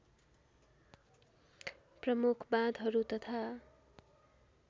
प्रमुख बाँधहरू तथा